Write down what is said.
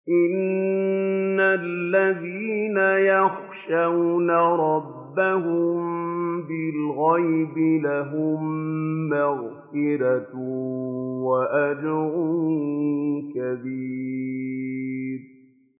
إِنَّ الَّذِينَ يَخْشَوْنَ رَبَّهُم بِالْغَيْبِ لَهُم مَّغْفِرَةٌ وَأَجْرٌ كَبِيرٌ